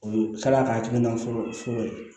O ye kalaya ka hakilina fɔlɔ fɔlɔ ye